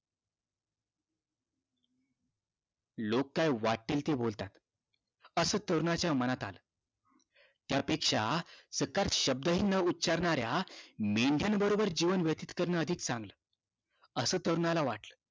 लोक काय वाटेल ते बोलतात असं तरुणाच्या मनात आला त्या पेक्षा चकार शब्द हि न उच्चारणाऱ्या मेंढ्याबरोबर जीवन व्यतीत करणं अधिक चांगलं असं तरुणाला वाटल